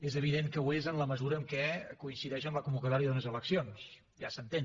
és evident que ho és en la mesura en què coincideix amb la convocatòria d’unes eleccions ja s’entén